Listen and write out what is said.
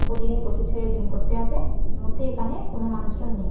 প্রতিদিন প্রচুর ছেলে জিম করতে আসে। মুহূর্তে এখানে কোনো মানুষজন নেই।